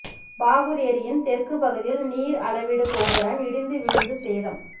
பாகூர் ஏரியின் தெற்கு பகுதியில் நீர் அளவீடு கோபுரம் இடிந்து விழுந்து சேதம்